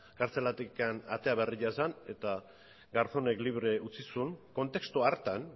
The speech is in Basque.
kartzelatik atera berria zen eta garzónek libre utzi zuen kontestu hartan